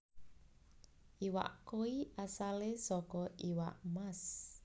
Iwak koi asalé saka iwak mas